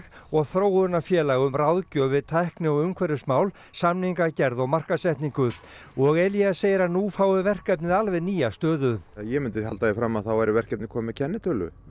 og þróunarfélag um ráðgjöf við tækni og umhverfismál samningagerð og markaðssetningu og Elías segir að nú fái verkefnið alveg nýja stöðu ég myndi halda því fram að þá væri verkefnið komið með kennitölu